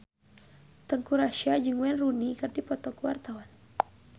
Teuku Rassya jeung Wayne Rooney keur dipoto ku wartawan